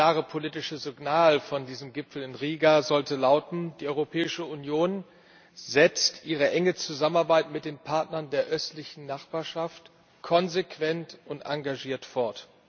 Das klare politische Signal von diesem Gipfel in Riga sollte lauten Die Europäische Union setzt ihre enge Zusammenarbeit mit den Partnern der Östlichen Nachbarschaft konsequent und engagiert fort.